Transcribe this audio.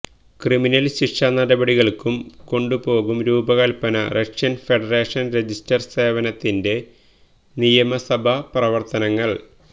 criminal ശിക്ഷാനടപടികൾക്കും കൊണ്ടുപോകും രൂപകൽപ്പന റഷ്യൻ ഫെഡറേഷൻ രജിസ്റ്റർ സേവനത്തിന്റെ നിയമസഭാ പ്രവർത്തനങ്ങൾ